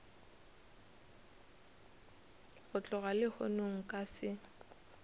go tloga lehono nka se